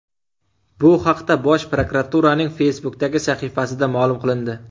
Bu haqda Bosh prokuraturaning Facebook’dagi sahifasida ma’lum qilindi .